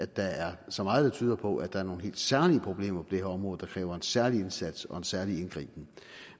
der er så meget der tyder på at der er nogle helt særlige problemer det her område der kræver en særlig indsats og en særlig indgriben